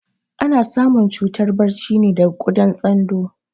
Ana samun cutar barci ne daga kuɗar tsando